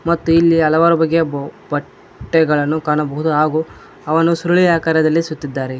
ಮತ್ತು ಇಲ್ಲಿ ಹಲವಾರು ಬಗೆಯ ಬಹು ಬಟ್ಟೆಗಳನ್ನು ಕಾಣಬಹುದು ಹಾಗು ಅವನ್ನು ಸುರುಳಿ ಆಕಾರದಲ್ಲಿ ಸುತ್ತಿದ್ದಾರೆ.